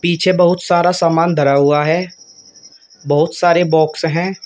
पीछे बहुत सारा सामान धरा हुआ है बहुत सारे बॉक्स हैं।